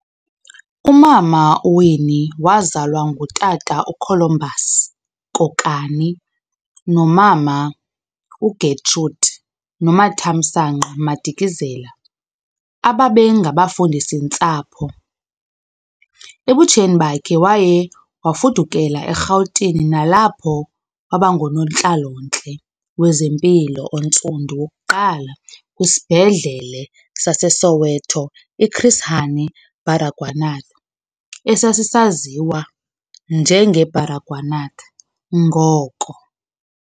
Umama uWinnie wazalwa ngutata uColumbus Kokani nomama uGetrude Nomathamsanqa Madikizela ababe ngabafundisi-ntsapho. Ebutsheni bakhe waye wafudukela eRhawutini nalapho waba ngunontlalo-ntle wezempilo ontsundu wokuqala kwisibhedlele saseSoweto iChris Hani Baragwanath esasisaziwa njenge-Baragwanath ngoko.